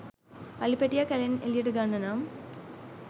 අලි පැටියා කැලෙන් එළියට ගන්න නම්